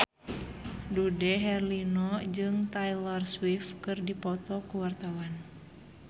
Dude Herlino jeung Taylor Swift keur dipoto ku wartawan